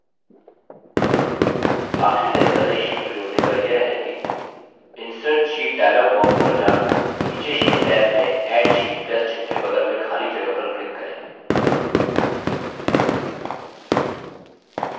आखिरी तरीका नई sheet को जोड़ने का यह है कि insert sheet dialog box पर जाकर नीचे sheet टैब में add sheet plus चिन्ह के बगल में खाली जगह पर क्लिक करें